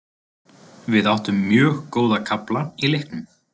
Við áttum mjög góða kafla í leiknum.